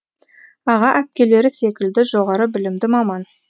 аға әпкелері секілді жоғары білімді маман